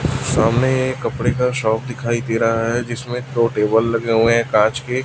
सामने एक कपड़े का शॉप दिखाई दे रहा है जिसमें दो टेबल लगे हुए हैं कांच के।